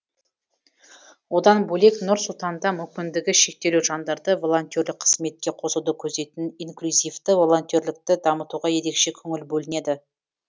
одан бөлек нұр сұлтанда мүмкіндігі шектеулі жандарды волонтерлік қызметке қосуды көздейтін инклюзивті волонтерлікті дамытуға ерекше көңіл бөлінеді